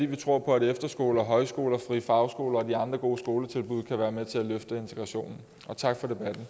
vi tror på at efterskoler og højskoler og frie fagskoler og de andre gode skoletilbud kan være med til at løfte integrationen og tak